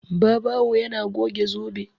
Babawo yana goge zobe.